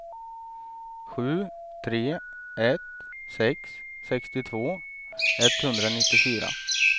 sju tre ett sex sextiotvå etthundranittiofyra